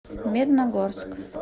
медногорск